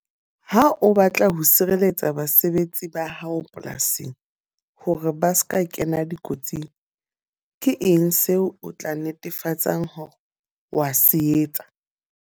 Ha o batla ho sireletsa basebetsi ba hao polasing, hore ba seka kena dikotsing. Ke eng seo o tla netefatsang hore wa se etsa?